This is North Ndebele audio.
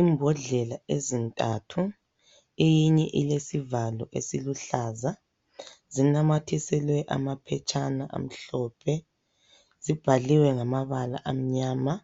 Imbodlela ezintathu eyinye ilesivalo esiluhlaza zinamathiselwe amaphetshana amhlophe zibhaliwe ngamabala amnyama,